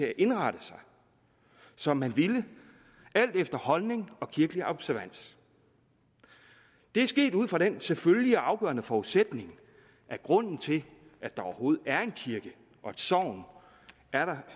at indrette sig som man ville alt efter holdning og kirkelig observans det er sket ud fra den selvfølgelige og afgørende forudsætning at grunden til at der overhovedet er en kirke og et sogn er